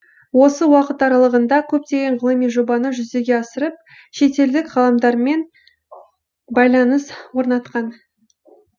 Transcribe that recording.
осы уақыт аралағында көптеген ғылыми жобаны жүзеге асырып шетелдік ғалымдармен байланыс орнатқан